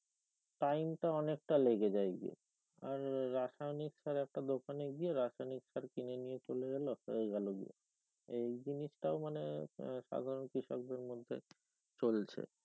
time টা অনেক টা লেগে যায় যে আর রাসায়নিক সার একটা দোকানে গিয়ে রাসায়নিক সার কিনে নিয়ে চলে গেলো হয়ে গেলো গিয়ে এই জিনিস টা মানে আহ সাধার কৃষকদের মধ্যে চলছে